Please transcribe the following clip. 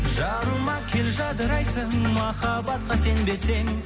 жаныма кел жадырайсың махаббатқа сенбесең